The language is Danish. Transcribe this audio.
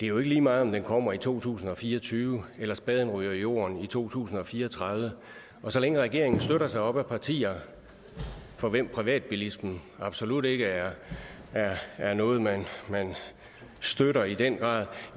er lige meget om den kommer i to tusind og fire og tyve eller spaden ryger i jorden i to tusind og fire og tredive så længe regeringen støtter sig op ad partier for hvem privatbilismen absolut ikke er er noget man støtter i den grad